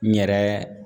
N yɛrɛ